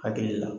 Hakili la